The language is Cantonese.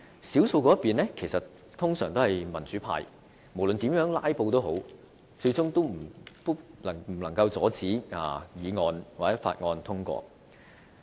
少數一方通常是民主派，無論怎樣"拉布"，最終也無法阻止議案或法案通過。